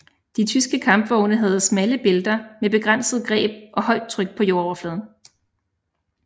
De tyske kampvogne havde smalle bælter med begrænset greb og højt tryk på jordoverfladen